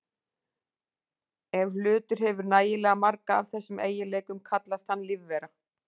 Ef hlutur hefur nægilega marga af þessum eiginleikum kallast hann lífvera.